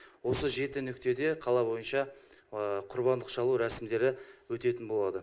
осы жеті нүктеде қала бойынша құрбандық шалу рәсімдері өтетін болады